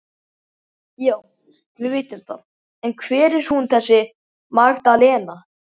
Já, við vitum það en hver er hún þessi Magdalena?